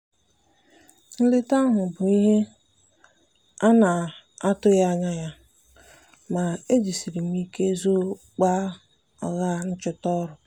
nleta ahụ bụ ihe a na-atụghị anya ya ma ejisiri m ike zoo ọgba aghara nchọta ọrụ.